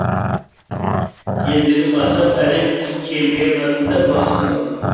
ендігі мақсат әлем чемпионатында бақ сынау